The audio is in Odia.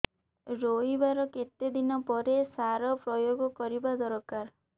ରୋଈବା ର କେତେ ଦିନ ପରେ ସାର ପ୍ରୋୟାଗ କରିବା ଦରକାର